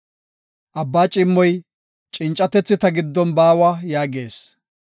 Abbaa ciimmoy, ‘Cincatethi ta giddon baawa’ yaagees.